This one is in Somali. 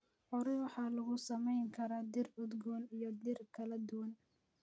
Curry waxaa lagu samayn karaa dhir udgoon iyo dhir kala duwan.